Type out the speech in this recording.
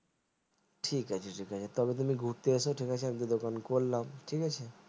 ঠিক আছে ঠিক আছে তবে একদিন তুমি ঘুরতে এস ঠিক আছে যখন করলাম